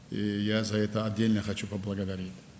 Və buna görə ayrıca təşəkkür etmək istəyirəm.